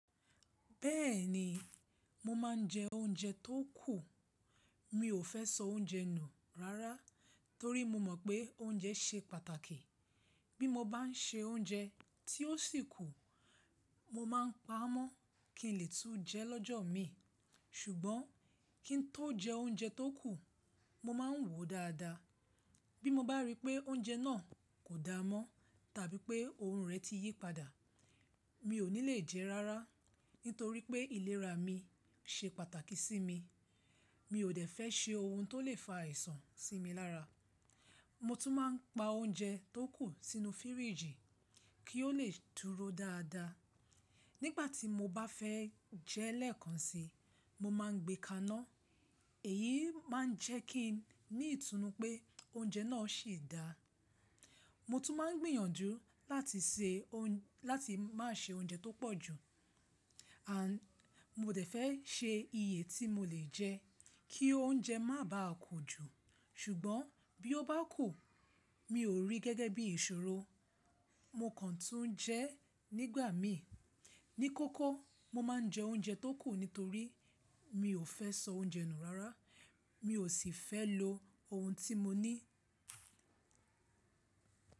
Bẹ́ẹ̀ni, mo máa ń jẹ oúnjẹ tó kù. Mi ò fẹ́ sọ oúnjẹ nù rárá, torí mo mọ̀ pé oúnjẹ ṣe pàtàkì. Bí mo bá ń se oúnjẹ tí ó sì kù, mo máa ń pa á mọ́ kí n lè tún jẹ lọ́jọ́ mi. Ṣugbọn kí n tó jẹ oúnjẹ tó kù, mo máa ń wò ó dáadáa. Bí mo bá rí pé oúnjẹ náà kò da mọ́ tàbí pé òun rẹ̀ ti yí padà, mi ò ní lè jẹ rárá. Nítorí pé ìlera mi ṣe pàtàkì sí mi, mi ò dẹ̀ fẹ́ se ohun tó lè fa àìsàn sí mi lára. Mo tún máa ń pa oúnjẹ tó kù sínú fíríjì kí ó lè turó dáadáa. Nígbà tí mo bá fẹ́ jẹ ĺẹ̀kan síi, mo máa ń gbé ka iná. Èyí máa ń jẹ́ kí n ní ìtunu pé oúnjẹ náà ṣì dáa. Mo tún máa ń gbìyànjú láti má ṣe oúnjẹ tó pọ̀ jù. Ànd, mo dẹ̀ fẹ́ ṣe iye tí mo lè jẹ kí oúnjẹ má bà á kù jù. Ṣugbọn bí ó bá kù, mi ò rí gẹ́gẹ́ bí ìṣòro. Mo kàn tún jẹ́ nígbà míi. Ní kókó, mo máa ń jẹ oúnjẹ tó kù nítorí mi ò fẹ́ sọ oúnjẹ nù rárá. Mi ò sì fẹ́ lo ohun tí mo ní.